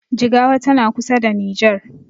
Jigawa tana kusa da nijer